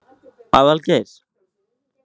Aðalgeir